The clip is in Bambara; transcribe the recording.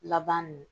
Laban nun